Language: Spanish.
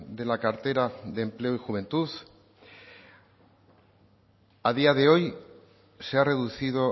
de la cartera de empleo y juventud a día de hoy se ha reducido